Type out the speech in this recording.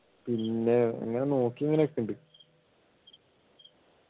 പിന്നെ ഇങ്ങനെ നോക്കി ഇങ്ങനെ നിൽക്കുന്നുണ്ട്